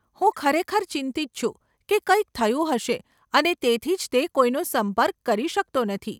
હું ખરેખર ચિંતિત છું કે કંઈક થયું હશે અને તેથી જ તે કોઈનો સંપર્ક કરી શકતો નથી.